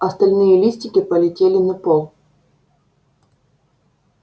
остальные листики полетели на пол